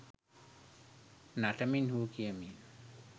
නටමින් හූ කියමින්